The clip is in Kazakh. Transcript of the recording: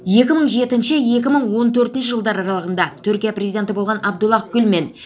екі мың жетінші екі мың он төртінші жылдар аралығында түркия президенті болған абдуллах гүл мен